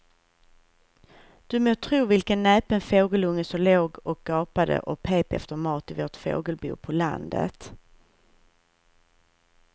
Du må tro vilken näpen fågelunge som låg och gapade och pep efter mat i vårt fågelbo på landet.